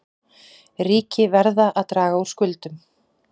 Ríki verða að draga úr skuldum